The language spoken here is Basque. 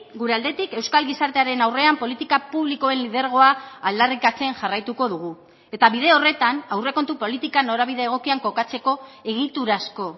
gure aldetik euskal gizartearen aurrean politika publikoen lidergoa aldarrikatzen jarraituko dugu eta bide horretan aurrekontu politika norabide egokian kokatzeko egiturazko